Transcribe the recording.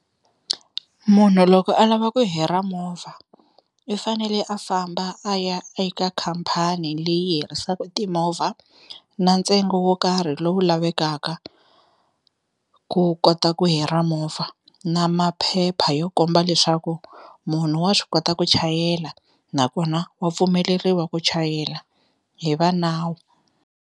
Munhu loko a lava ku hira movha i fanele a famba a ya eka khampani leyi hirisaka timovha na ntsengo wo karhi lowu lavekaka ku kota ku hira movha, na maphepha yo komba leswaku munhu wa swi kota ku chayela nakona wa pfumeleriwa ku chayela hi va nawu.